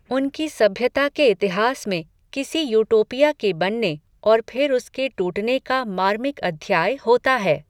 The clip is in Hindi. उनकी सभ्यता के इतिहास में, किसी यूटोपिया के बनने, और फिर उसके टूटने का मार्मिक अध्याय होता है